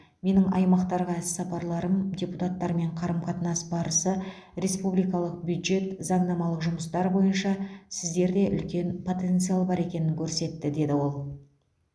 менің аймақтарға іс сапарларым депутаттармен қарым қатынас барысы республикалық бюджет заңнамалық жұмыстар бойынша сіздерде үлкен потенциал бар екенін көрсетті деді ол